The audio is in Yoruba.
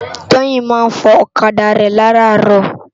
Toyin má n fò òkadá rè làrárò